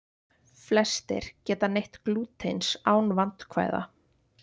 Flestir geta neytt glútens án vandkvæða.